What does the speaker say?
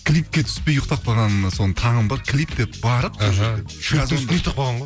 клипке түспей ұйықтап қалғанына соны таңым бар клип деп барып сол жерге шөптің үстінде ұйықтап қалған ғой